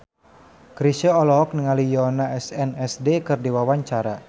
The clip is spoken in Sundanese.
Chrisye olohok ningali Yoona SNSD keur diwawancara